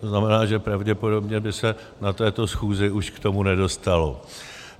To znamená, že pravděpodobně by se na této schůzi už k tomu nedostalo.